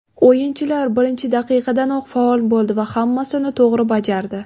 O‘yinchilar birinchi daqiqadanoq faol bo‘ldi va hammasini to‘g‘ri bajardi.